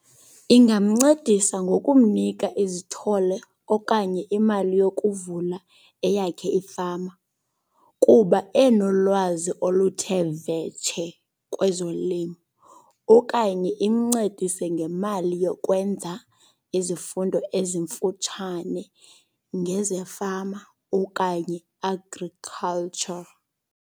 Ingamncedisa ngokumnika izithole okanye imali yokuvula eyakhe ifama kuba enolwazi oluthe vetshe kwezolimo. Okanye imncedise ngemali yokwenza izifundo ezimfutshane ngezefama okanye agriculture.